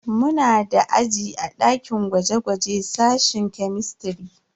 Muna da aji a dakin gwaje-gwaje sashen kemistiri.